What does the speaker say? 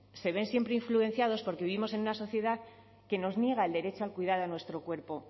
se ven siempre influenciadas porque vivimos en una sociedad que nos niega el derecho a cuidar de nuestro cuerpo